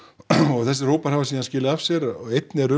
og þessir hópar hafa síðan skilað af sér og einn er